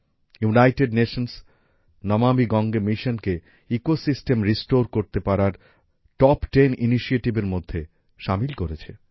United Nations Namami Gange মিশনকে ecosystem restore করতে পারার টপ টেন ইনিশিয়েটিভ এর মধ্যে সামিল করেছে